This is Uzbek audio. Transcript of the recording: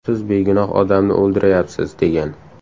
Siz begunoh odamni o‘ldirayapsiz”, degan.